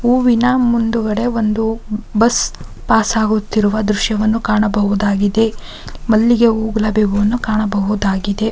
ಹೂವಿನ ಮುಂದುಗಡೆ ಒಂದು ಬಸ್ ಪಾಸ್ ಆಗುತ್ತಿರುವ ದೃಶ್ಯವನ್ನು ಕಾಣಬಹುದಾಗಿದೆ ಮಲ್ಲಿಗೆ ಹೂ ಗುಲಾಬಿ ಹೂ ಅನ್ನು ಕಾಣಬಹುದಾಗಿದೆ .